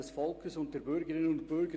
Wir kommen zur Vereidigung.